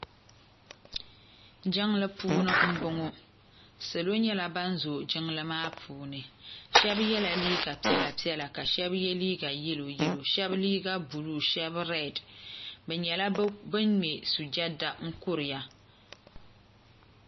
Jiŋli puuni n bɔŋo salo nyɛla ban zooyi jiŋli maa puuni shɛba yɛla liiga piɛla piɛla ka shɛba yɛ liiga yɛlo yɛlo shɛba liiga buluu shɛba rɛd bi nyɛla bin ŋmɛ sujada n kuriya.